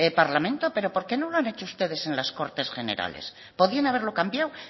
parlamento pero por qué no lo han hecho ustedes en las cortes generales podían haberlo cambiado